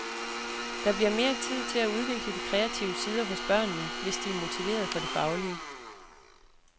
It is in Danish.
Der bliver mere tid til at udvikle de kreative sider hos børnene, hvis de er motiveret for det faglige.